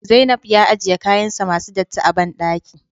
Zainab ya ajiye kayansa masu datti a bandaki